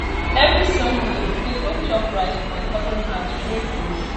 every sunday we dey go chop rice for my cousin house we dey close